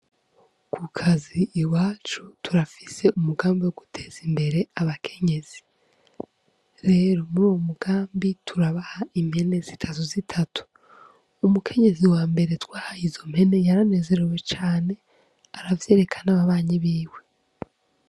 Kukazi iwacu turafise umugambi wo guteza imbere abakenyezi, rero muri uwo mugambi turabaha impene zitatu zitatu umukenyezi wambere twahaye izo mpene yaranezerewe cane aravyereka n'ababanyi biwe.